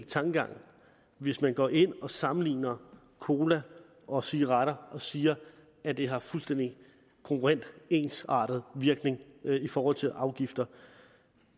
tankegang hvis man går ind og sammenligner cola og cigaretter og siger at det har fuldstændig kongruent ensartet virkning i forhold til afgifter